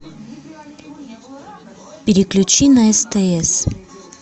переключи на стс